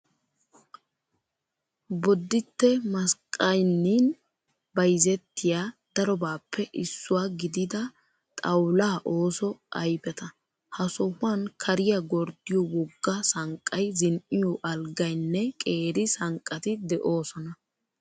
Bodditte masqqayinnin bayizettiyaa darobaappe issuwaa gidida xawulaa ooso ayipeta. Ha sohuwan kariyaa gorddiyoo wogga sanqqayi zin''iyoo alggayinne qeeri sanqqati doosona.